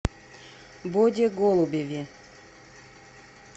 боде голубеве